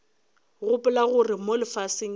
gopola gore mo lefaseng ke